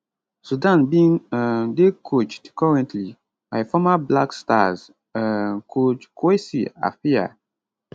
sudan bin um dey coached currently by former black stars um coach kwesi appiah